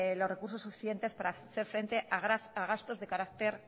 los recursos suficientes para hacer frente a gastos de carácter